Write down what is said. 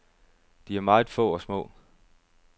De er meget få og små.